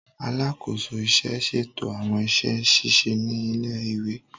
Alakoso iṣẹ n ṣeto awọn iṣẹ ṣiṣe ni ile-iwe.